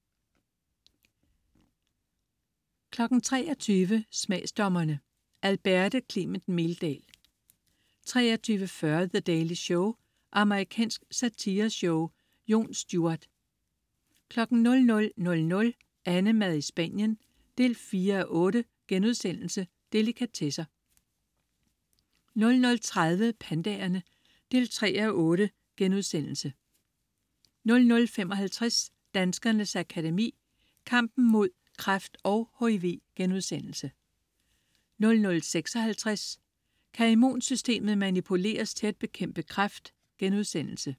23.00 Smagsdommerne. Alberte Clement Meldal 23.40 The Daily Show. Amerikansk satireshow. Jon Stewart 00.00 AnneMad i Spanien 4:8.* Delikatesser 00.30 Pandaerne 3:8* 00.55 Danskernes Akademi: Kampen mod kræft og HIV* 00.56 Kan immunsystemet manipuleres til at bekæmpe kræft?*